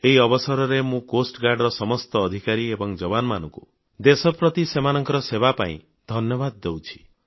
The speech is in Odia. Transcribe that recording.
ଏହି ଅବସରରେ ମୁଁ ତଟରକ୍ଷୀ ବାହିନୀର ସମସ୍ତ ଅଧିକାରୀ ଏବଂ ଯବାନମାନଙ୍କୁ ରାଷ୍ଟ୍ର ପ୍ରତି ସେମାନଙ୍କ ସେବା ପାଇଁ ଧନ୍ୟବାଦ ଦେଉଛି